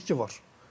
Bir itki var.